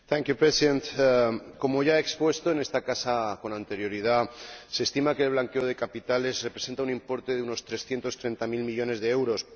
Señor Presidente, como ya he expuesto en esta casa con anterioridad, se estima que el blanqueo de capitales representa un importe de unos 330000millones de euros.